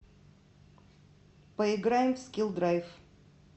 поиграем в скилл драйв